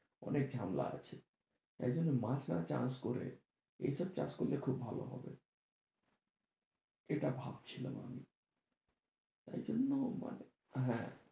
অনেক ঝামেলা আছে, তাই জন্য মাছ না চাষ করে এই সব চাষ করলে খুব ভালো হবে এটা ভাবছিলাম আমি তাই জন্য মানে হ্যাঁ।